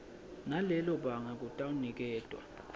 nalelo banga kutawuniketwa